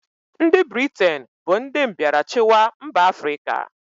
Ndị Britain bụ ndị mbịarachịwa mba Afrịka.